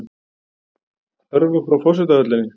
Hörfa frá forsetahöllinni